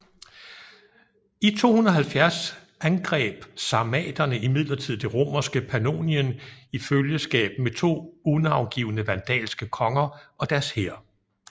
I 270 angreb sarmaterne imidlertid det romerske Pannonien i følgeskab med to unavngivne vandalske konger og deres hær